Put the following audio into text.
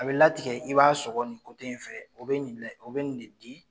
A bɛ latigɛ i b'a sɔgɔ nin in fɛ o bɛ nin o bɛ nin de di.